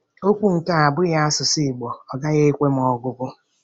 Mbọk um kere ban̄a um se enye etịn̄de nte ẹwụtde ke ibuotikọ um oro etienede.